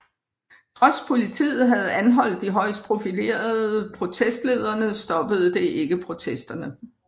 Trods politiet havde anholdt de højst profillerede protestlederne stoppede det ikke protesterne